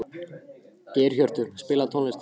Geirhjörtur, spilaðu tónlist.